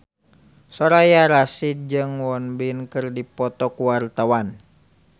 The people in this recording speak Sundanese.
Soraya Rasyid jeung Won Bin keur dipoto ku wartawan